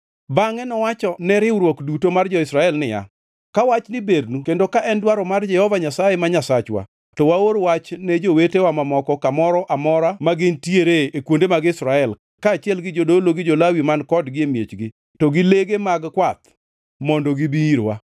Bangʼe nowachone riwruok duto mar jo-Israel niya, “Ka wachni bernu kendo ka en dwaro mar Jehova Nyasaye ma Nyasachwa, to waor wach ne jowetewa mamoko kamoro amora ma gintiere e kuonde mag Israel kaachiel gi jodolo gi jo-Lawi man kodgi e miechgi to gi lege mag kwath mondo gibi irwa.